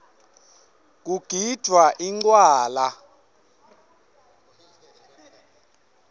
kugidvwa incwala